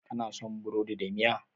Kana son burodi da miya?